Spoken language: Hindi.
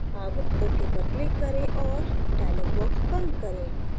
अब ok पर click करें और dialog box बंद करें